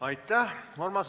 Aitäh!